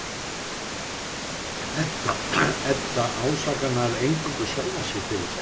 Edda ásakar nær eingöngu sjálfa sig fyrir þetta.